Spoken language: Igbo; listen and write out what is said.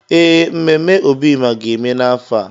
Ee, mmemme Obima ga-eme n’afọ a.